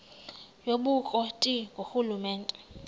yobukro ti ngurhulumente